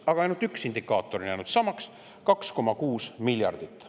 Aga üks indikaator on jäänud samaks: 2,6 miljardit.